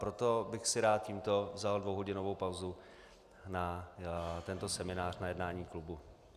Proto bych si rád tímto vzal dvouhodinovou pauzu na tento seminář, na jednání klubu.